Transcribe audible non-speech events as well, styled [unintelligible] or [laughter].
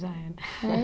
Já era. [unintelligible]